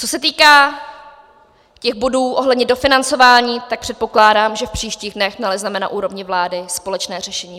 Co se týká těch bodů ohledně dofinancování, tak předpokládám, že v příštích dnech nalezneme na úrovni vlády společné řešení.